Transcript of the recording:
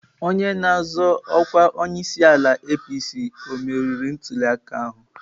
Onye na-azọ ọkwa onyeisiala nke APC ọ meriri ntuliaka ahụ.